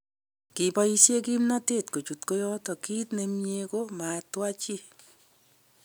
"Kiboishen kipnotet kochut koyoton kit nemie ko matwa chi.